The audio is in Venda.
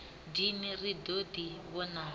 dini ri ḓo ḓi vhonana